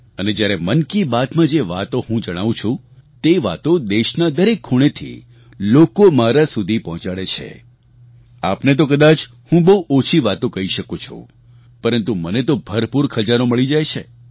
અને જ્યારે મન કી બાતમાં જે વાતો હું જણાવું છું તે વાતો દેશના દરેક ખૂણેથી લોકો મારા સુધી પહોંચાડે છે આપને તો કદાચ હું બહુ ઓછી વાતો કહી શકું છું પરંતુ મને તો ભરપૂર ખજાનો મળી જાય છે